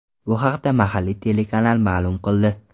Bu haqda mahalliy telekanal maʼlum qildi .